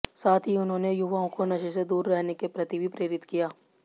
साथ ही उन्होंने युवाओं को नशे से दूर रहने के प्रति भी प्रेरित किया